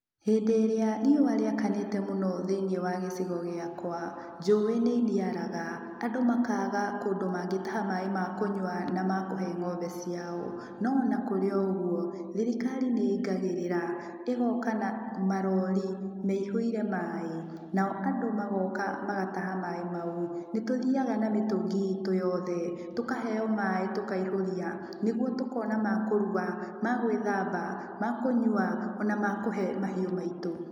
Hĩndĩ ĩrĩa riũa rĩakanĩte mũno thĩiniĩ wa gĩcigo gĩakwa, njũĩ nĩiniaraga. Andũ makaaga kũndũ mangĩtaha maaĩ ma kũnyua na makũhe ng'ombe ciao. No ona kũrĩ o ũguo, thirikari nĩ ingagĩrĩra, ĩgooka na marori meihũire maaĩ, nao andũ magooka magataha maaĩ mau. Nĩ tũthiaga mĩtũngi itũ yothe, tũkaheo maaĩ tũkaihũria, nĩguo tũkona ma kũruga, ma gwĩthamba, ma kũnyua, ona ma kũhe mahiũ maitũ.